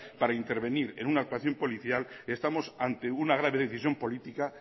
para intervenir en una actuación policial estamos ante una grave decisión política